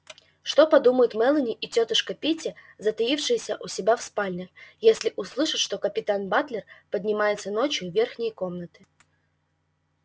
что подумают мелани и тётушка питти затаившиеся у себя в спальнях если услышат что капитан батлер поднимается ночью в верхние комнаты